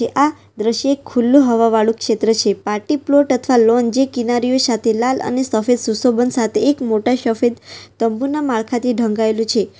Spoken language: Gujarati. આ દ્રશ્ય ખુલ્લુ હવા વાળું ક્ષેત્ર છે પાર્ટી પ્લોટ અથવા લોન જે કિનારીઓ સાથે લાલ અને સફેદ સુશોભન સાથે એક મોટા શફેદ તંબુના માળખા થી ઢંકાયેલું છે.